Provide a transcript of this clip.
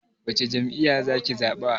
Wace jam'iya za ki zaɓa?